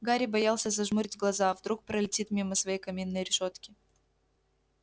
гарри боялся зажмурить глаза вдруг пролетит мимо своей каминной решётки